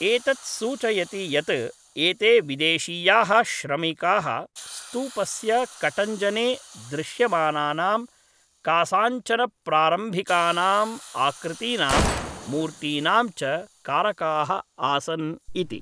एतत् सूचयति यत् एते विदेशीयाः श्रमिकाः स्तूपस्य कटञ्जने दृश्यमानानां कासाञ्चन प्रारम्भिकानाम् आकृतीनां, मूर्तीनां च कारकाः आसन् इति।